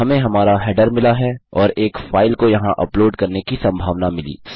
हमें हमारा हेडर मिला और एक फाइल को यहाँ अपलोड करने की सम्भावना मिली